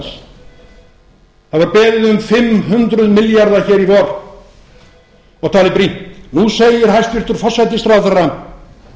um fimm hundruð milljarða hér í vor og talið brýnt nú segir hæstvirtur forsætisráðherra